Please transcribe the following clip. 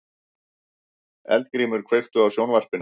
Eldgrímur, kveiktu á sjónvarpinu.